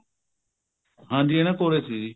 ਹਾਂਜੀ ਇਹਨਾ ਕੋਲ ਹੀ ਸੀ ਜੀ